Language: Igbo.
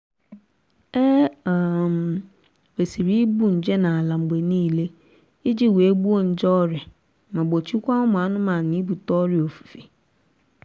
e um kwesịrị igbu nje n'ala mgbe niile iji wee gbuo nje ọrịa ma gbochikwaa ụmụ anụmanụ ibute ọrịa ofufe